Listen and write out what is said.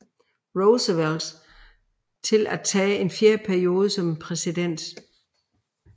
Roosevelt til at tage en fjerde periode som præsident